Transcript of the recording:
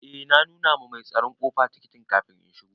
Eh na nuna ma mai tsaron ƙofa tikitin kafin in shigo.